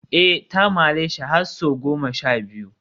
eh ta mareshi har sau goma sha biyu